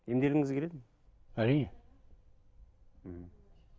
емделгіңіз келеді ме әрине мхм